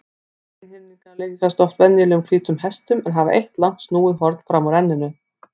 Einhyrningar líkjast oft venjulegum hvítum hestum en hafa eitt langt snúið horn fram úr enninu.